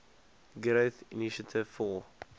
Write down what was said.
growth initiative for